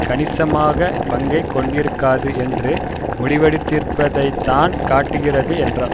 கணிசமான பங்கை கொண்டிருக்காது என்று முடிவெடுத்திருப்பதைத்தான் காட்டுகிறது என்றார்